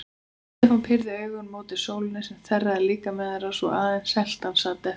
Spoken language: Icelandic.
Stefán pírði augun mót sólinni sem þerraði líkama þeirra svo að aðeins seltan sat eftir.